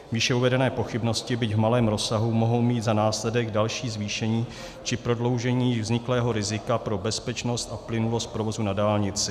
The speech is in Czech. Výše uvedené pochybnosti, byť v malém rozsahu, mohou mít za následek další zvýšení či prodloužení vzniklého rizika pro bezpečnost a plynulost provozu na dálnici.